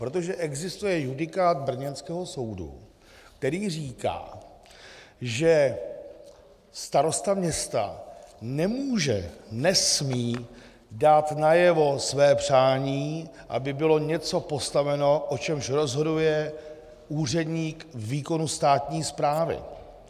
Protože existuje judikát brněnského soudu, který říká, že starosta města nemůže, nesmí dát najevo své přání, aby bylo něco postaveno, o čemž rozhoduje úředník výkonu státní správy.